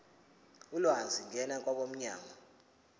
ulwazi ngena kwabomnyango